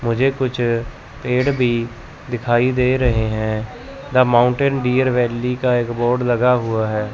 मुझे कुछ पेड़ भी दिखाई दे रहे हैं द माउंटेन डियर वैली का एक बोर्ड लगा हुआ है।